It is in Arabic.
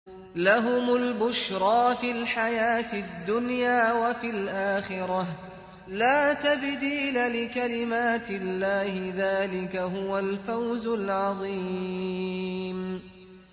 لَهُمُ الْبُشْرَىٰ فِي الْحَيَاةِ الدُّنْيَا وَفِي الْآخِرَةِ ۚ لَا تَبْدِيلَ لِكَلِمَاتِ اللَّهِ ۚ ذَٰلِكَ هُوَ الْفَوْزُ الْعَظِيمُ